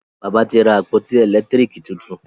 bàbá tí ra àpótí elekitiriki títún.